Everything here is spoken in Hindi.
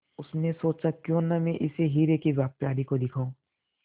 उसने सोचा क्यों न मैं इसे हीरे के व्यापारी को दिखाऊं